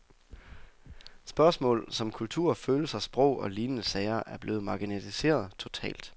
Spørgsmål som kultur, følelser, sprog og lignende sager er blevet marginaliseret totalt.